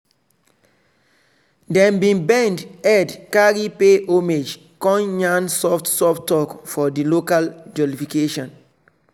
dem bin bend head carry pay homage con yarn soft soft talk for di local jollification.